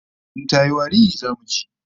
In tayi wari, zamu ji